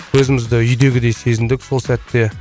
өзімізді үйдегідей сезіндік сол сәтте